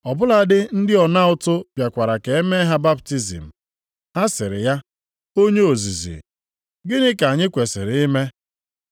Ọ bụladị ndị ọna ụtụ bịakwara ka e mee ha baptizim. Ha sịrị ya, “Onye ozizi, gịnị ka anyị kwesiri ime?”